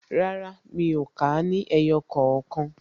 Rárá, mi ò kà á ní ẹyọ kookan